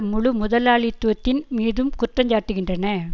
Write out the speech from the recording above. முழு முதலாளித்துவத்தின் மீதும் குற்றஞ்சாட்டுகின்றன